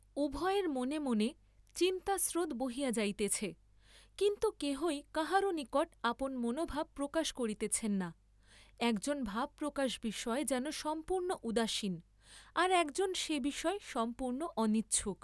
উভয়ের মনে মনে চিন্তাস্রোত বহিয়া যাইতেছে, কিন্তু কেহই কাহারও নিকট আপন মনোভাব প্রকাশ করিতেছেন না, একজন ভাব প্রকাশ বিষয়ে যেন সম্পূর্ণ উদাসীন, আর একজন সে বিষয়ে সম্পূর্ণ অনিচ্ছুক।